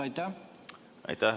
Aitäh!